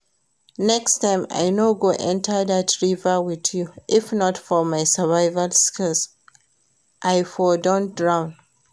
Next time I no go enter dat river with you. If not for my survival skills I for don drown